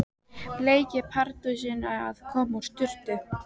Bleiki Pardusinn að koma úr sturtu!